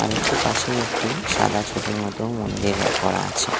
আরেকটু পাশেই একটি সাদা ছোটর মতো মন্দির রা করা আছে।